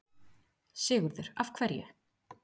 Sigurður: Af hverju?